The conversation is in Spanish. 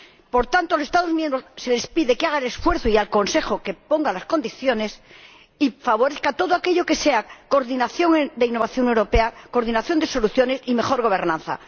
Por tanto, a los Estados miembros se les pide que hagan el esfuerzo, y al Consejo, que ponga las condiciones y favorezca todo aquello que sea coordinación de innovación europea, coordinación de soluciones y mejor gobernanza.